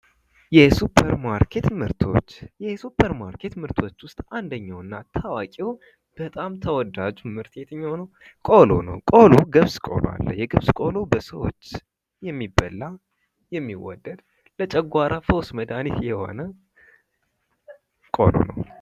የሱፐር ማርኬት ምርቶች፤ የሱፐር ማርኬት ምርቶች ውስጥ አንደኛውና ታዋቂ በጣም ተወዳጁ ምርት የትኛው ነው? ቆሎ ነው ቆሎ ገብስ ቆሎ አለ። የ ገብስ ቆሎ በሰዎች የሚበላ የሚወደድ ለጨጓራ ፈውስ መድሃኒት የሆነ ቆሎ ነው።